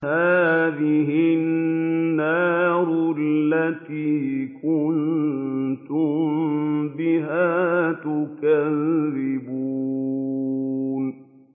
هَٰذِهِ النَّارُ الَّتِي كُنتُم بِهَا تُكَذِّبُونَ